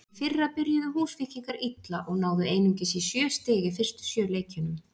Í fyrra byrjuðu Húsvíkingar illa og náðu einungis í sjö stig í fyrstu sjö leikjunum.